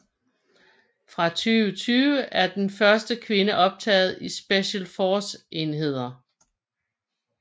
Fra 2020 er den første kvinde optaget i Special Forces enheder